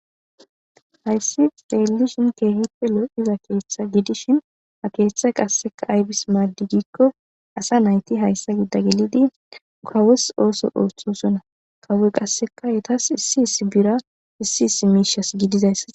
Hayisa xelishin kehipe loiza ketha gidishin hakethay qasi ayibis madigiko asanayiti hayisa gida gelidi kawos oso othosona kawoy qasi etas issi issi bira issi issi mishes gidizaysa